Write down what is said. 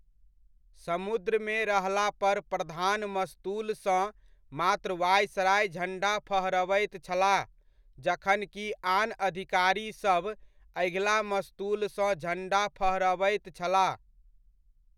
समुद्रमे रहला पर प्रधान मस्तूलसँ मात्र वायसराय झण्डा फहरबैत छलाह जखन कि आन अधिकारीसभ अगिला मस्तूलसँ झण्डा फहरबैत छलाह।